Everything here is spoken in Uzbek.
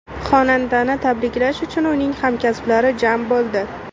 Xonandani tabriklash uchun uning hamkasblari jam bo‘ldi.